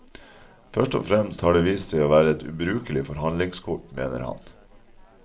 Først og fremst har det vist seg å være et ubrukelig forhandlingskort, mener han.